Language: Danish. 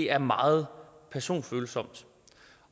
er meget personfølsomt